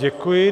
Děkuji.